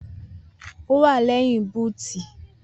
Owà lẹ́yìn bútì.